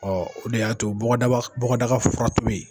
Ɔɔ o de ya to bɔgɔdaka fura tobi.